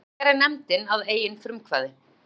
Þetta gerði nefndin að eigin frumkvæði.